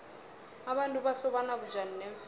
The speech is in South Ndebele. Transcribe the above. abantu bahlobana bunjani neemfene